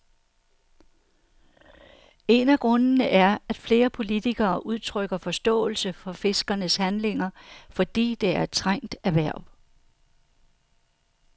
En af grundene er, at flere politikere udtrykker forståelse for fiskernes handlinger, fordi det er et trængt erhverv.